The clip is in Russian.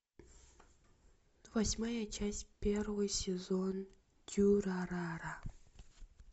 восьмая часть первый сезон дюрарара